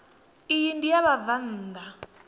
iyi ndi ya vhabvann ḓa